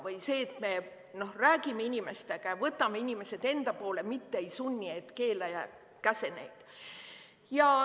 Või see, et me räägime inimestega ja võidame inimesed enda poole, mitte ei sunni ega keela ja käsi neid.